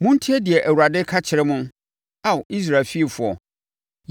Montie deɛ Awurade ka kyerɛ mo, Ao Israel fiefoɔ.